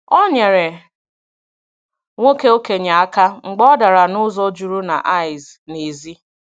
Ọ nyerè nwoke okenye aka mgbe ọ darà n’ụzọ jụrụ na ìce n’èzí.